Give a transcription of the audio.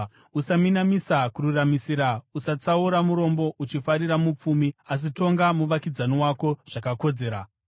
“ ‘Usaminamisa kururamisira, usatsaura murombo uchifarira mupfumi, asi tonga muvakidzani wako zvakakodzera.